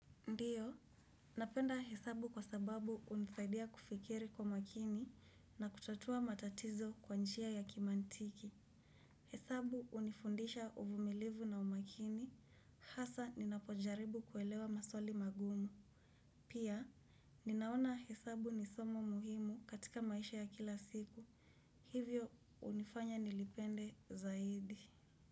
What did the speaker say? Ndiyo, napenda hesabu kwa sababu hunisaidia kufikiri kwa makini na kutatua matatizo kwa njia ya kimantiki. Hesabuh unifundisha uvumilivu na umakini, hasa ninapojaribu kuelewa maswali magumu. Pia, ninaona hesabu ni somo muhimu katika maisha ya kila siku. Hivyo, unifanya nilipende zaidi.